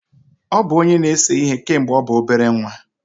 Ọ bụ onye na-ese ihe kemgbe ọ bụ obere nwa.